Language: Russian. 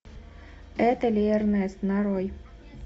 это верность нарой